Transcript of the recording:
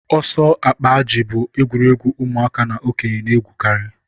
ọsọ akpa ajị bụ egwuregwu ụmụaka na okenye na-egwukarị